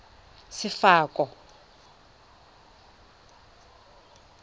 sefako